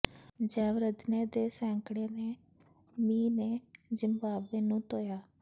ਜੈਵਰਧਨੇ ਦੇ ਸੈਂਕੜੇ ਤੇ ਮੀਂਹ ਨੇ ਜ਼ਿੰਬਾਬਵੇ ਨੂੰ ਧੋਇਆ